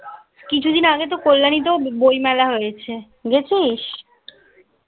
কিছুদিন আগে তো কল্যাণীতেও বই মেলা হয়েছে. গেছিস?